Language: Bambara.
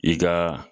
I ka